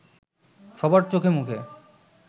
সবার চোখে মুখে